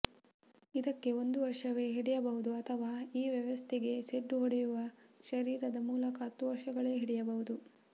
ಇದಕ್ಕೆ ಒಂದು ವರ್ಷವೇ ಹಿಡಿಯಬಹುದು ಅಥವಾ ಈ ವ್ಯವಸ್ಥೆಗೇ ಸೆಡ್ಡು ಹೊಡೆಯುವ ಶರೀರದ ಮೂಲಕ ಹತ್ತು ವರ್ಷಗಳೇ ಹಿಡಿಯಬಹುದು